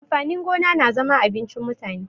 Amfani gona na zama abincin mutane.